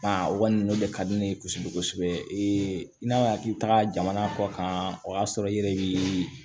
o kɔni nunnu de ka di ne ye kosɛbɛ kosɛbɛ i n'a fɔ k'i taga jamana kɔ kan o y'a sɔrɔ i yɛrɛ bi